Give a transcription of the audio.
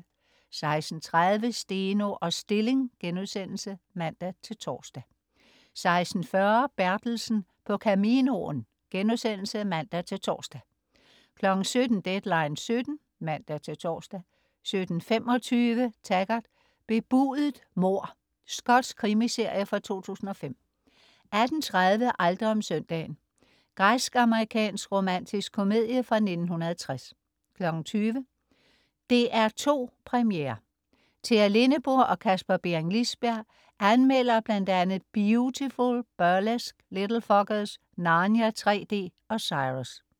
16.30 Steno og Stilling* (man-tors) 16.40 Bertelsen på Caminoen* (man-tors) 17.00 Deadline 17:00 (man-tors) 17.25 Taggart: Bebudet mord. Skotsk krimiserie fra 2005 18.30 Aldrig om søndagen. Græsk-amerikansk romantisk komedie fra 1960 20.00 DR2 Premiere. Tea Lindeburg og Kasper Bering Liisberg anmelder bl.a. "Biutiful", "Burlesque", "Little Fockers", "Narnia 3D" og "Cyrus"